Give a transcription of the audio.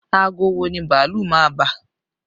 Aago wo ni bàálù máa bà?